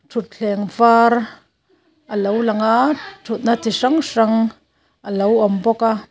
thutthleng var alo lang a thutna chi hrang hrang a lo awm bawk a.